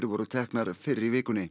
voru teknar fyrr í vikunni